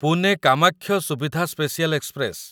Pune Kamakhya Suvidha special express